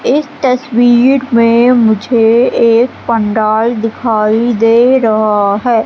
इस तस्वीर में मुझे एक पंडाल दिखाई दे रहा है।